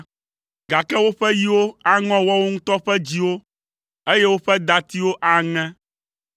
Gake woƒe yiwo aŋɔ woawo ŋutɔ ƒe dziwo, eye woƒe datiwo aŋe.